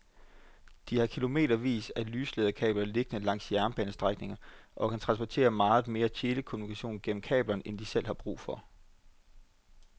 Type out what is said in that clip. De har kilometervis af lyslederkabler liggende langs jernbanestrækningerne og kan transportere meget mere telekommunikation gennem kablerne end de selv har brug for.